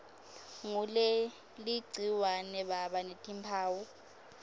nguleligciwane baba netimphawu